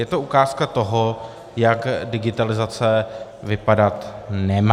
Je to ukázka toho, jak digitalizace vypadat nemá.